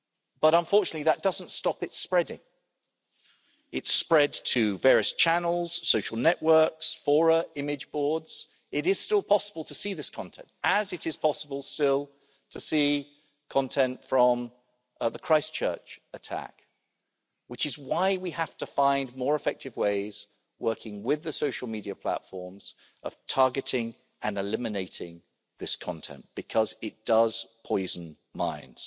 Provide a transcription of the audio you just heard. But unfortunately that doesn't stop it spreading. It's spread to various channels, social networks, fora, image boards. It is still possible to see this content, as it is possible still to see content from the Christchurch attack, which is why we have to find more effective ways working with the social media platforms of targeting and eliminating this content because it does poison minds.